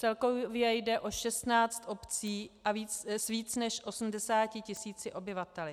Celkově jde o 16 obcí s více než 80 tisíci obyvateli.